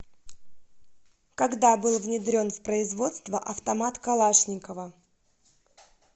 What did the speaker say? когда был внедрен в производство автомат калашникова